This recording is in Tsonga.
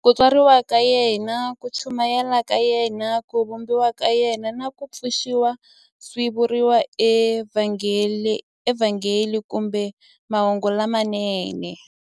Ku tswariwa ka yena, ku chumayela ka yena, ku vambiwa ka yena, na ku pfuxiwa swi vuriwa eVhangeli kumbe Mahungu lamanene.